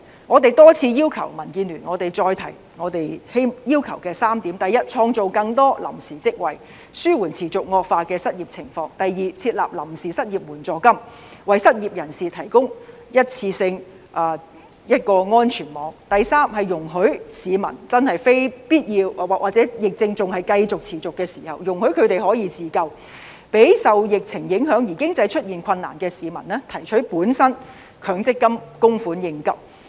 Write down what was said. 我再次重申，民建聯多次要求的3點，第一，創造更多臨時職位，紓緩持續惡化的失業情況；第二，設立臨時失業援助金，為失業人士提供一次性安全網；第三，容許市民在真正非必要時或疫情仍然持續時可以自救，讓受疫情影響而經濟出現困難的市民提取本身的強制性公積金供款應急。